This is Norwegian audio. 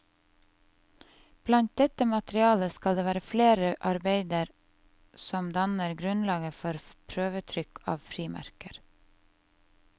Blant dette materialet skal det være flere arbeider som danner grunnlaget for prøvetrykk av frimerker.